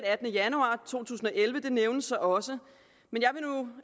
attende januar to tusind og elleve nævnes også men